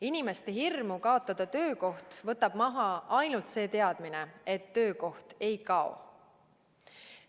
Inimeste hirmu kaotada töökoht võtab maha ainult see teadmine, et töökoht ei kao.